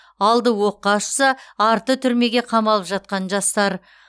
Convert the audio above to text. алды оққа ұшса арты түрмеге қамалып жатқан жастар